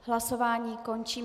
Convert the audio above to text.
Hlasování končím.